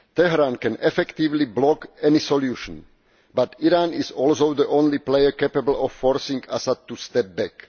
Tehran can effectively block any solution, but Iran is also the only player capable of forcing Assad to step back.